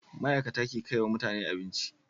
Ma'ikata ke kaiwa mutane abinci